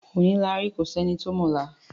Òní la rí kò sí ẹni tó mọ ọ̀la.